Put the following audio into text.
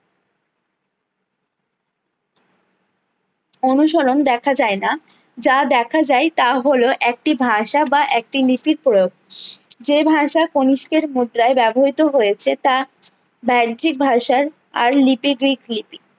অনুসরণ দেখা যায় না যা দেখা যায় তা হলো একটি ভাষা বা একটি লিপির প্রয়োগ যে ভাষা কণিষ্কের মুদ্রাই ব্যবহৃত হয়েছে তা ব্যাহিজিক ভাষার আর লিপি গ্রীক লিপি